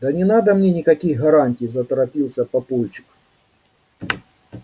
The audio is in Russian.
да не надо мне никаких гарантий заторопился папульчик